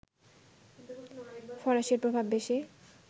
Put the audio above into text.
ফরাসির প্রভাব বেশি